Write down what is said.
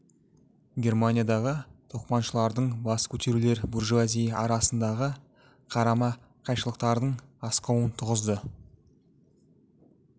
германиядағы тоқманшылардың бас көтерулер буржуазия арасындағы қарама-қайшылықтардың асқынуын туғызды